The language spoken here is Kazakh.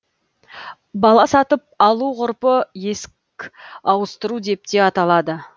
бала сатып алу ғұрпы есік ауыстыру деп те аталады